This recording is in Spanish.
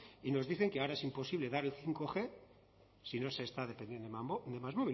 y nos dicen que ahora es imposible dar el bostg si no se está másmóvil